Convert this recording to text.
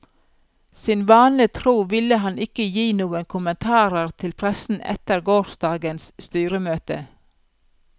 Sine vane tro ville han ikke gi noen kommentarer til pressen etter gårsdagens styremøte.